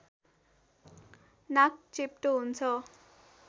नाक चेप्टो हुन्छ